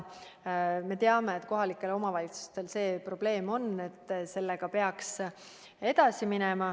Me teame, et kohalikel omavalitsustel see probleem on ja et sellega peaks edasi minema.